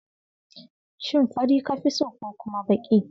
Shin fari ka fi so ko kuma baki?